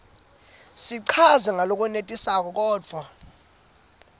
sichazwe ngalokwenetisako kodvwa